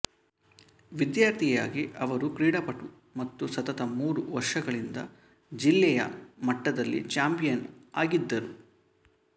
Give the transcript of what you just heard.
ವಿದ್ಯಾರ್ಥಿಯಾಗಿ ಅವರು ಕ್ರೀಡಾಪಟು ಮತ್ತು ಸತತ ಮೂರು ವರ್ಷಗಳಿಂದ ಜಿಲ್ಲೆಯ ಮಟ್ಟದಲ್ಲಿ ಚಾಂಪಿಯನ್ ಆಗಿದ್ದರು